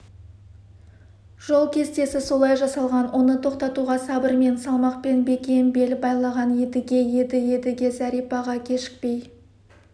жол кестесі солай жасалған оны тоқтатуға сабырмен салмақпен бекем бел байлаған едіге еді едіге зәрипаға кешікпей